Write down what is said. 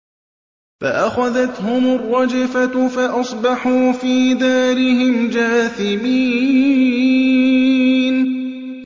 فَأَخَذَتْهُمُ الرَّجْفَةُ فَأَصْبَحُوا فِي دَارِهِمْ جَاثِمِينَ